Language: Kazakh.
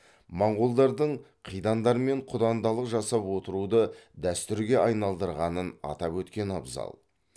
монғолдардың қидандармен құдандалық жасап отыруды дәстүрге айналдырғанын атап өткен абзал